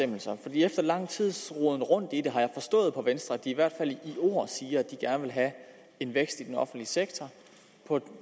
efter lang tids roden rundt i det har jeg forstået på venstre at de i hvert fald i ord siger at de gerne vil have en vækst i den offentlige sektor på